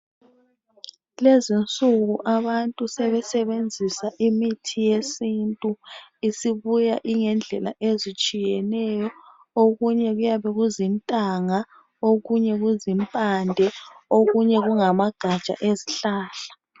Kulezi insuku abantu sebesebenzisa imithi yesintu, isibuya ingendlela ezitshiyeneyo. Okunye kuyabe kuzintanga, okunye kuzimpande ,okunye kungamagaja ezihlahla.